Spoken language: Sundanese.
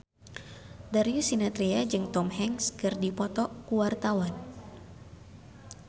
Darius Sinathrya jeung Tom Hanks keur dipoto ku wartawan